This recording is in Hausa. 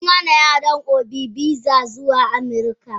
Sun hana yaron obi visa zuwa amurika.